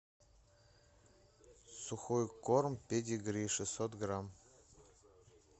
сухой корм педигри шестьсот грамм